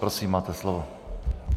Prosím, máte slovo.